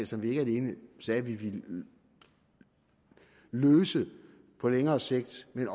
som vi ikke alene sagde at vi ville løse på længere sigt men